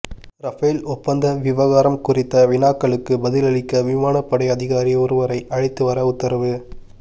Rafale ஒப்பந்த விவகாரம் குறித்த வினாக்களுக்குப் பதிலளிக்க விமானப்படை அதிகாரி ஒருவரை அழைத்து வர உத்தரவு